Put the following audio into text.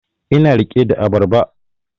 Ina rike da abarba